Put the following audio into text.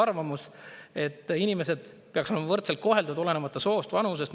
See on mu isiklik sügav arvamus, et inimesed peaks olema võrdselt koheldud, olenemata soost, vanusest.